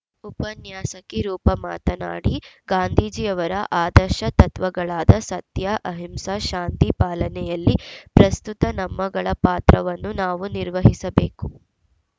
ಉಪನ್ಯಾಸಕಿ ರೂಪ ಮಾತನಾಡಿ ಗಾಂಧೀಜಿಯವರ ಆದರ್ಶ ತತ್ವಗಳಾದ ಸತ್ಯ ಅಹಿಂಸ ಶಾಂತಿ ಪಾಲನೆಯಲ್ಲಿ ಪ್ರಸ್ತುತ ನಮ್ಮಗಳ ಪಾತ್ರವನ್ನು ನಾವು ನಿರ್ವಹಿಸಬೇಕು